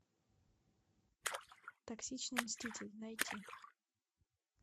токсичный мститель найти